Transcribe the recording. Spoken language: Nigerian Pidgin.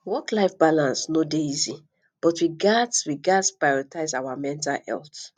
worklife balance no dey easy but we gats we gats prioritize our mental health